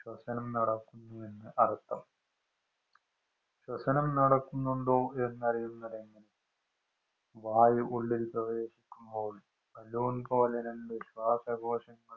പ്രവര്‍ത്തനം നടക്കുന്നുവെന്നര്‍ത്ഥം. ശ്വസനം നടക്കുന്നുണ്ടോ എന്നറിയുന്നത് എങ്ങനെ? വായു ഉള്ളില്‍ പ്രവേശിക്കുമ്പോള്‍ ബലൂണ്‍ പോലെ രണ്ടു ശ്വാസകോശങ്ങള്‍